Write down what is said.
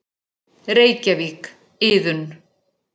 Reykjavík, Iðunn.